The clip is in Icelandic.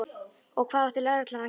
Og hvað átti lögreglan að gera?